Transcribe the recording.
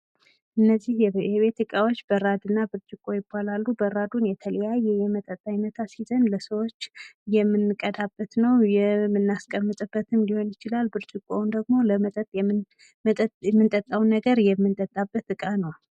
እነዚህ የቤት እቃዎች በራድና ብርጭቆ ይባላሉ። በራዱን የተለያዩ የመጠጥ አይነት አሲዘን ለሰዎች የምንቀዳበት ነው። የምናሰቀምጥበትም ሊሆን ይችላል። ብርጭቆውን ደግሞ የምንጠጣውን ነገር የምንጠጣበት ዕቃ ነው።